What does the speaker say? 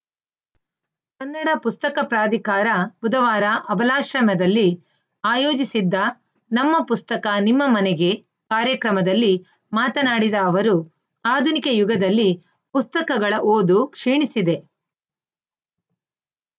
ಕನ್ನಡ ಪುಸ್ತಕ ಪ್ರಾಧಿಕಾರ ಬುಧವಾರ ಅಬಲಾಶ್ರಮದಲ್ಲಿ ಆಯೋಜಿಸಿದ್ದ ನಮ್ಮ ಪುಸ್ತಕ ನಿಮ್ಮ ಮನೆಗೆ ಕಾರ್ಯಕ್ರಮದಲ್ಲಿ ಮಾತನಾಡಿದ ಅವರು ಆಧುನಿಕ ಯುಗದಲ್ಲಿ ಪುಸ್ತಕಗಳ ಓದು ಕ್ಷೀಣಿಸಿದೆ